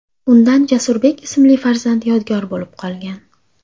Undan Jasurbek ismli farzand yodgor bo‘lib qolgan.